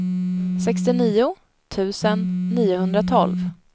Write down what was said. sextionio tusen niohundratolv